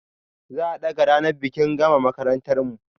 Za a ɗaga ranar bikin gama makarantar mu